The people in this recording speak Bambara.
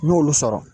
N y'olu sɔrɔ